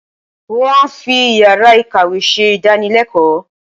Wọ́n á fi Ìyàrá-ìkàwé ṣe ìdánılẹ́kọ̀ọ́.